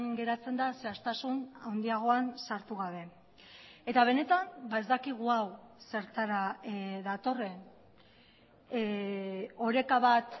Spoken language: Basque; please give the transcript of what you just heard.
geratzen da zehaztasun handiagoan sartu gabe eta benetan ez dakigu hau zertara datorren oreka bat